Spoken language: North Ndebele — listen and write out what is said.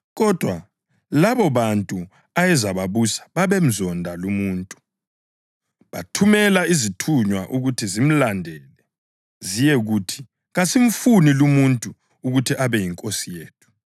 Kodwa labobantu ayezababusa babemzonda lumuntu, bathumela izithunywa ukuthi zimlandele ziyekuthi, ‘Kasimfuni lumuntu ukuthi abe yinkosi yethu.’